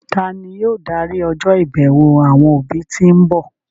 Tani yóò darí ọjọ́ ìbẹ̀wò àwọn òbí tí ń bọ̀?